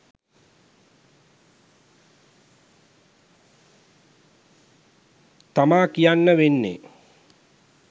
තමා කියන්න වෙන්නෙ